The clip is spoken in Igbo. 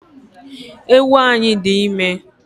Ewu anyi di ime